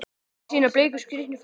Með sína bleiku, skrítnu fætur?